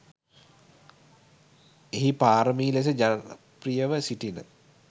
එහි පාරමී ලෙස ජනප්‍රියව සිටින